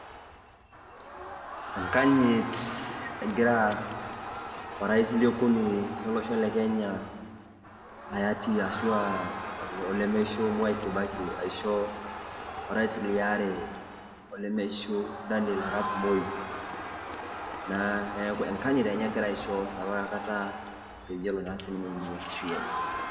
Enkanyit egira orais le okuni lo olosho le Kenya hayati ashu aa olemishu Mwai Kibaki aisho orais le aare olemeishu Daniel Arap Moi naa neeku enkanyit enye egira aisho enapa kata peyie elo naa sininye enkishui enye.